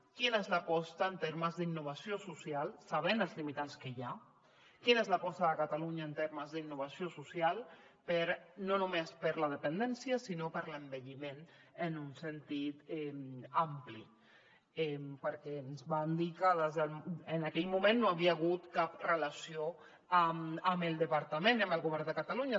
quina és l’aposta en termes d’innovació social sabent els limitants que hi ha quina és l’aposta de catalunya en termes d’innovació social no només per a la dependència sinó per a l’envelliment en un sentit ampli perquè ens van dir que en aquell moment no hi havia hagut cap relació amb el departament ni amb el govern de catalunya